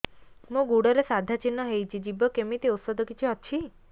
ମୋ ଗୁଡ଼ରେ ସାଧା ଚିହ୍ନ ହେଇଚି ଯିବ କେମିତି ଔଷଧ କିଛି ଅଛି